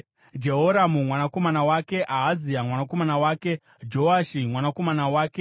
Jehoramu mwanakomana wake, Ahazia mwanakomana wake, Joashi mwanakomana wake,